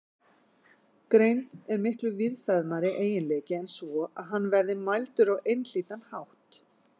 Greind er miklu víðfeðmari eiginleiki en svo að hann verði mældur á einhlítan hátt.